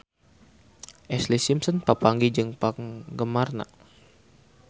Ashlee Simpson papanggih jeung penggemarna